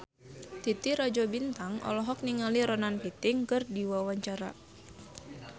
Titi Rajo Bintang olohok ningali Ronan Keating keur diwawancara